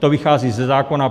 To vychází ze zákona.